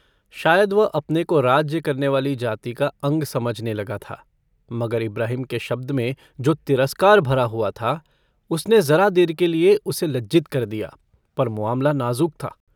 शायद वह अपने को राज्य करने वाली जाति का अंग समझने लगता था। मगर इब्राहिम के शब्द में जो तिरस्कार भरा हुआ था उसने ज़रा देर के लिए उसे लज्जित कर दिया पर मुआमला नाज़ुक था।